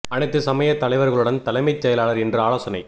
அனைத்துச் சமய தலைவர்களுடன் தலைமைச் செயலாளர் இன்று ஆலோசனை